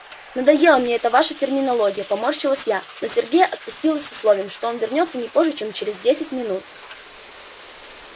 надоела мне эта ваша терминология поморщилась я но сергея отпустила с условием что он вернётся не позже чем через десять минут